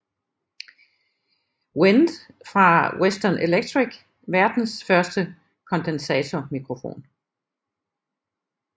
Wente fra Western Electric verdens første kondensatormikrofon